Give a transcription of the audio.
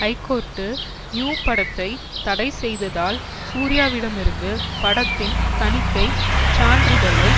high court New படத்தை தடை செய்ததால் சூர்யாவிடமிருந்து படத்தின் தணிக்கை சான்றிதழை